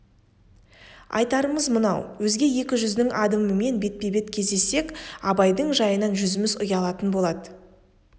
айтарымыз мынау өзге екі жүздің адамымен бетпе-бет кездессек абайдың жайынан жүзіміз ұялатын болады